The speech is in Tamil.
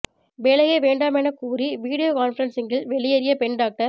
வேலையே வேண்டாம் எனக் கூறி வீடியோ கான்ஸ்பிரன்ஸ்சிங்கில் வெளியேறிய பெண் டாக்டர்